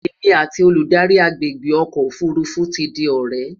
èmi àti Olùdarí agbègbè ọkọ òfurufú tí di ọrẹ